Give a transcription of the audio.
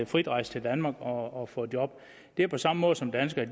frit rejse til danmark og få job det er på samme måde som danskere